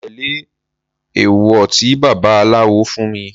Mo tẹ́lẹ̀ èwọ̀ tí baba aláwo fún mi.